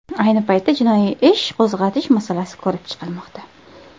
Ayni paytda jinoiy ish qo‘zg‘atish masalasi ko‘rib chiqilmoqda.